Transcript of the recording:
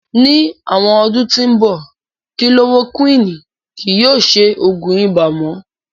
Ni awọn ọdun ti nbọ, kilorokuwini kii yóò ṣe oogun ibà mo.